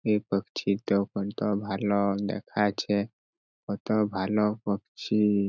এ পক্ছিটা কত ভালো দেখাচ্ছে কত ভালো পক্ছি।